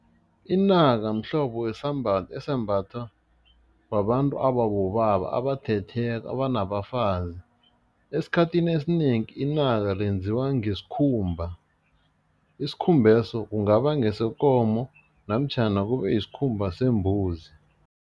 Inaka mhlobo wesambatho esimbathwa babantu ababobaba abathetheko, abanabafazi, esikhathini esinengi inaka lenziwa ngesikhumba, isikhumbeso kungaba ngesekomo namtjhana kube yisikhumba sembuzi.